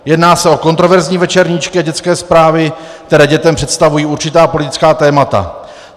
Jedná se o kontroverzní večerníčky a dětské zprávy, které dětem představují určitá politická témata.